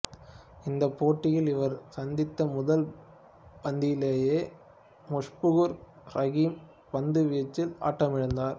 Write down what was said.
இந்தப் போட்டியில் இவர் சந்தித்த முதல் பந்திலேயே முஷ்பிகுர் ரகீம் பந்துவீச்சில் ஆட்டமிழந்தார்